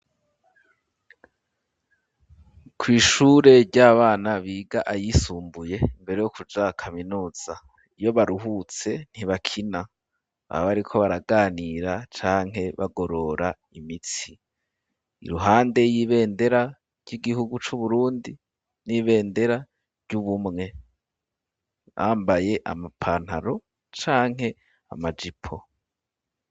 Kw'ishure ry'abana biga ayisumbuye mbere yo kuja akaminuza iyo baruhutse ntibakina aba bariko baraganira canke bagorora imitsi iruhande y'ibendera ry'igihugu c'uburundi n'ibendera ryo ubumwe ambaye amapantaro canke amajipo.